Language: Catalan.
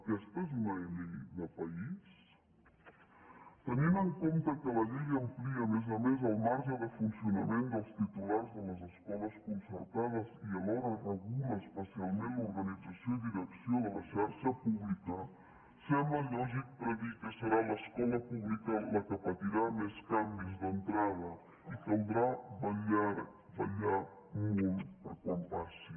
aquesta és una llei de país tenint en compte que la llei amplia a més a més el marge de funcionament dels titulars de les escoles concertades i alhora regula especialment l’organització i direcció de la xarxa pública sembla lògic predir que serà l’escola pública la que patirà més canvis d’entrada i caldrà vetllar molt per quan passi